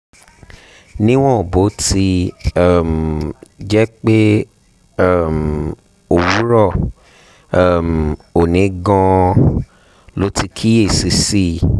níwọ̀n bó ti um jẹ́ pé um òwúrọ̀ um òní gan-an lo ti kíyè sí i